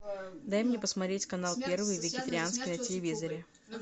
дай мне посмотреть канал первый вегетарианский на телевизоре